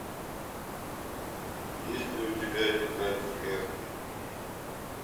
есть ли у тебя тетрадь смерти